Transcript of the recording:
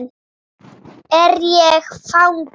Er ég fangi?